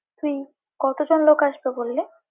তুই, কতজন লোক আসবে বললি?